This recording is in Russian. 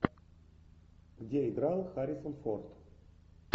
где играл харрисон форд